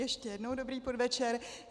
Ještě jednou dobrý podvečer.